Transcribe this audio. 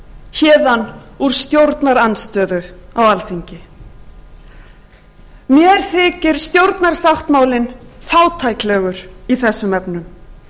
héðan úr stjórnarandstöðu á alþingi mér þykir stjórnarsáttmálinn fátæklegur í þessum efnum askja var